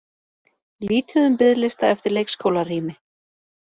Lítið um biðlista eftir leikskólarými